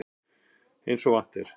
Eins og vant er.